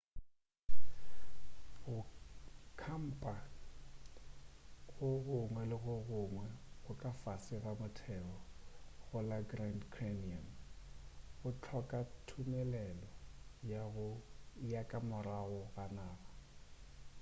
go khampa go gongwe le go gongwe ga ka fase ga motheo go la grand canyon go hloka thumelelo ya ka morago ga naga